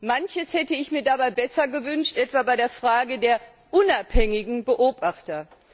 Manches hätte ich mir dabei besser gewünscht, etwa bei der Frage der unabhängigen Beobachter.